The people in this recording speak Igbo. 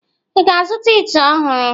Ị ga-azụta ite ọhụrụ?